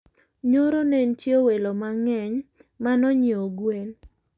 Nyoro nentie welo mangeny manonyieo gwen